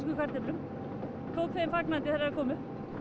kartöflum og tók þeim fagnandi þegar þær komu